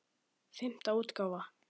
Fimmta útgáfa.